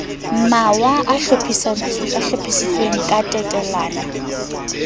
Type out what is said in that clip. mawa a hlophisitsweng ka tatellano